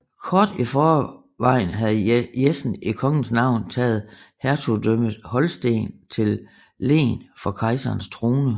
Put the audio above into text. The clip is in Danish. Kort i forvejen havde Jessen i kongens navn taget hertugdømmet Holsten til len for kejserens trone